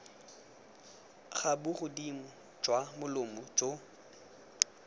ga bogodimo jwa molomo jo